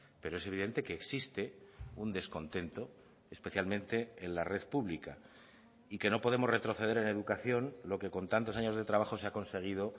pero es evidente que existe un descontento especialmente en la red pública y que no podemos retroceder en educación lo que con tantos años de trabajo se ha conseguido